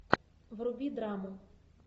вруби драму